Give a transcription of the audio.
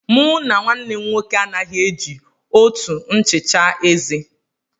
Mụ na nwannem nwoke anaghị e ji òtù nchicha eze.